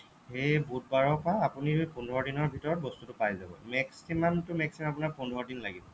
সেই বুধবাৰৰ পৰা আপুনি পোন্ধৰ দিনৰ ভিতৰত বস্তুটো পাই যাব maximum to maximum আপোনাৰ পোন্ধৰ দিন লাগিব